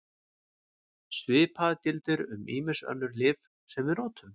Svipað gildir um ýmis önnur lyf sem við notum.